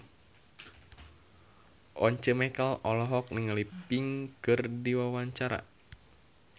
Once Mekel olohok ningali Pink keur diwawancara